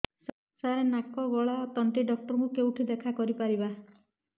ସାର ନାକ ଗଳା ଓ ତଣ୍ଟି ଡକ୍ଟର ଙ୍କୁ କେଉଁଠି ଦେଖା କରିପାରିବା